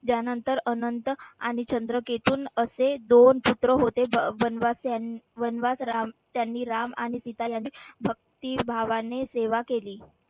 यानंतर अनंत आणि असे दोन पुत्र होते वनवास राम त्यांनी राम आणि सीता यांनी भक्तिभावानी सेवा केली.